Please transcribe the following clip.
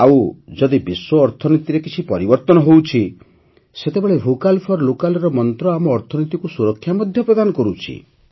ଆଉ ଯଦି ବିଶ୍ୱ ଅର୍ଥନୀତିରେ କିଛି ପରିବର୍ତ୍ତନ ହେଉଛି ସେତେବେଳେ ଭୋକାଲ୍ ଫର୍ ଲୋକାଲ୍ ର ମନ୍ତ୍ର ଆମ ଅର୍ଥନୀତିକୁ ସୁରକ୍ଷା ମଧ୍ୟ ପ୍ରଦାନ କରୁଛି